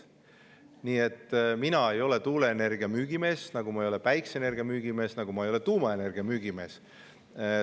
Nii et mina ei ole tuuleenergia müügimees, nagu ma ei ole ka päikseenergia ega tuumaenergia müügimees.